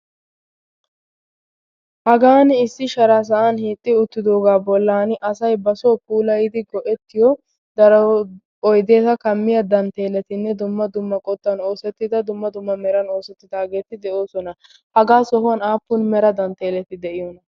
hagan issi shara sa7an hiixxi uttidoogaa bollan asai ba soo puulayidi go7ettiyo daro oideesa kammiya dantteeletinne dumma dumma qottan oosettida dumma dumma meran oosettidaageeti de7oosona hagaa sohuwan aappun mera dantteeleti de7iyoona?